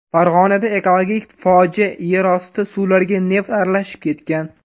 Farg‘onada ekologik fojia yerosti suvlariga neft aralashib ketgan.